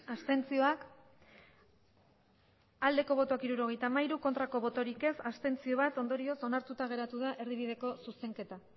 abstentzioa hirurogeita hamabi bai bat abstentzio ondorioz onartuta geratu da erdibideko zuzenketa